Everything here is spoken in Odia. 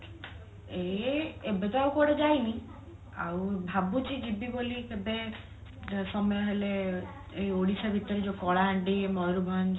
ଏଇ ଏବେ ତ ଆଉ କୁଆଡେ ଯାଇନି ଆଉ ଭାବୁଛି ଯିବିବୋଲି କେବେ ସମୟ ହେଲେ ଏଇ ଓଡିଶା ଭିତରେ ଯୋଉ କଳାହାଣ୍ଡି ମୟୂରଭଞ୍ଜ